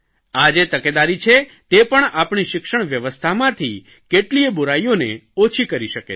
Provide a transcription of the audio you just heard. આ જે તકેદારી છે તે પણ આપણી શિક્ષણ વ્યવસ્થામાંથી કેટલીયે બુરાઇઓને ઓછી કરી શકે છે